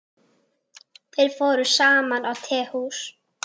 Þeir fóru saman á tehús.